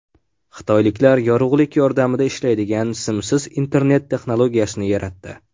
Xitoyliklar yorug‘lik yordamida ishlaydigan simsiz internet texnologiyasini yaratdi.